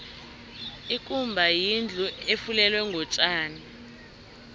ikumba yindlu efulelwe ngotjani